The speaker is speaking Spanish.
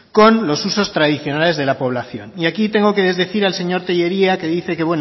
con los usos tradicionales de la población y aquí tengo que desdecir al señor tellería que dice que